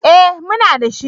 Eh, muna da shi